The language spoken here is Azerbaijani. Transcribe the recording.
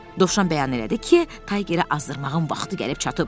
Dovşan bəyan elədi ki, Taygeri azdırmağın vaxtı gəlib çatıb.